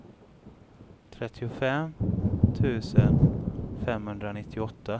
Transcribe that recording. trettiofem tusen femhundranittioåtta